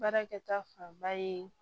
Baarakɛta fanba ye